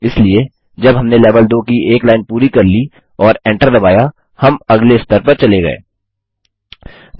इसलिए जब हमने लेवल 2 की एक लाइन पूरी कर ली और Enter दबाया हम अगले स्तर पर चले गये